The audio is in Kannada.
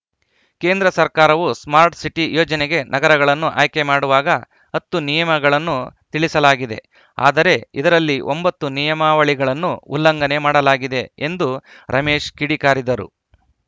ಕೇಂದ್ರ ಸರ್ಕಾರವು ಸ್ಮಾರ್ಟ್‌ ಸಿಟಿ ಯೋಜನೆಗೆ ನಗರಗಳನ್ನು ಆಯ್ಕೆ ಮಾಡುವಾಗ ಹತ್ತು ನಿಯಮಾವಳಿಗಳನ್ನು ತಿಳಿಸಲಾಗಿದೆ ಆದರೆ ಇದರಲ್ಲಿ ಒಂಬತ್ತು ನಿಯಮಾವಳಿಗಳನ್ನು ಉಲ್ಲಂಘನೆ ಮಾಡಲಾಗಿದೆ ಎಂದು ರಮೇಶ್‌ ಕಿಡಿಕಾರಿದರು